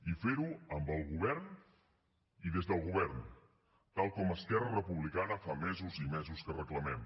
i fer ho amb el govern i des del govern tal com esquerra republicana fa mesos i mesos que reclamem